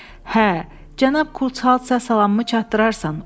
Hə, cənab Kuçal, sənə salamımı çatdırarsan.